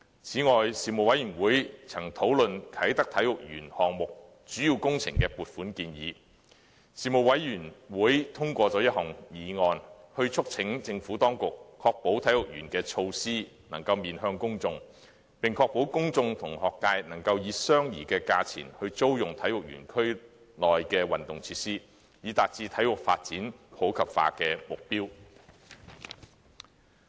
此外，事務委員會曾討論"啟德體育園項目"主要工程的撥款建議，事務委員會通過了一項議案，促請政府當局確保體育園的措施能夠面向公眾，並確保公眾和學界能夠以相宜的價錢租用體育園區內的運動設施，以達致體育發展普及化的目標。